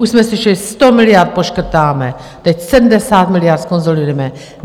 Už jsme slyšeli: 100 miliard poškrtáme, teď 70 miliard zkonsolidujeme.